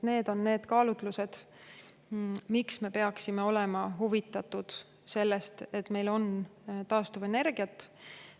Need on need kaalutlused, mille tõttu me peaksime olema huvitatud sellest, et meil oleks taastuvenergiat.